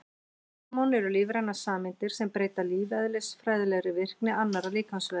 Hormón eru lífrænar sameindir sem breyta lífeðlisfræðilega virkni annarra líkamsvefja.